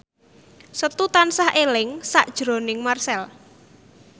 Setu tansah eling sakjroning Marchell